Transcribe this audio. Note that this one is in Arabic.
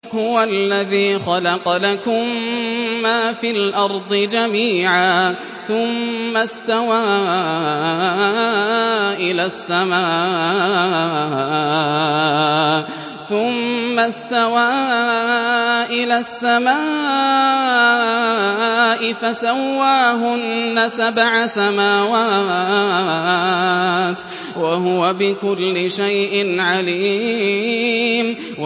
هُوَ الَّذِي خَلَقَ لَكُم مَّا فِي الْأَرْضِ جَمِيعًا ثُمَّ اسْتَوَىٰ إِلَى السَّمَاءِ فَسَوَّاهُنَّ سَبْعَ سَمَاوَاتٍ ۚ وَهُوَ بِكُلِّ شَيْءٍ عَلِيمٌ